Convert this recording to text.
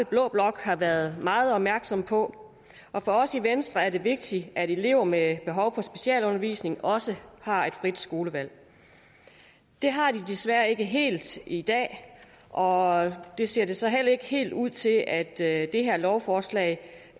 blå blok har været meget opmærksomme på og for os i venstre er det vigtigt at elever med behov for specialundervisning også har et frit skolevalg det har de desværre ikke helt i dag og det ser det så heller ikke helt ud til at det her lovforslag